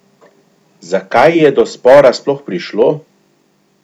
Za kaj je do spora sploh prišlo?